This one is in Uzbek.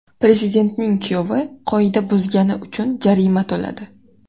Prezidentning kuyovi qoida buzgani uchun jarima to‘ladi .